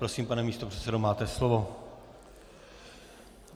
Prosím, pane místopředsedo, máte slovo.